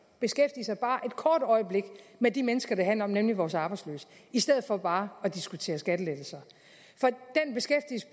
beskæftige sig bare et kort øjeblik med de mennesker det handler om nemlig vores arbejdsløse i stedet for bare at diskutere skattelettelser